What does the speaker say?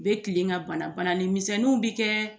U bɛ tilen ka bana banani misɛnninw bɛ kɛ